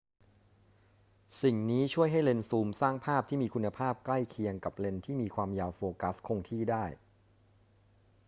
สิ่งนี้ช่วยให้เลนส์ซูมสร้างภาพที่มีคุณภาพใกล้เคียงกับเลนส์ที่มีความยาวโฟกัสคงที่ได้